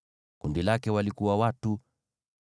Kundi lake lina watu 40,500.